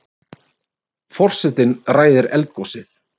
Forsetinn ræðir eldgosið